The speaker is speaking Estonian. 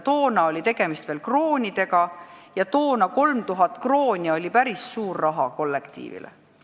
Tookord oli tegemist veel kroonidega ja 3000 krooni oli päris suur raha kollektiivile.